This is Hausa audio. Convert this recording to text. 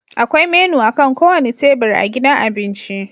Akwai menu akan kowane tebur a gidan abinci